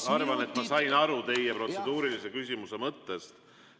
Ma arvan, et ma sain aru teie protseduurilise küsimuse mõttest.